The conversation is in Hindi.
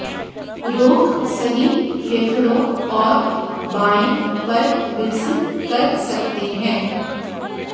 रोग सही फेफड़ों और बाएं पर विकसित कर सकते हैं